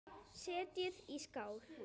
Setjið í skál.